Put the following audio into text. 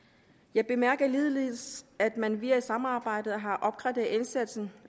jeg bemærker ligeledes at man via samarbejdet har opgraderet indsatsen